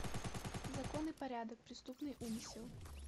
закон и порядок преступный умысел